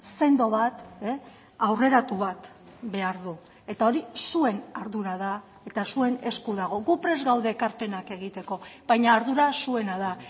sendo bat aurreratu bat behar du eta hori zuen ardura da eta zuen esku dago gu prest gaude ekarpenak egiteko baina ardura zuena da